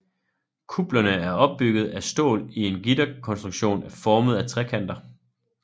Kuplerne er opbygget af stål i en gitterkonstruktion formet af trekanter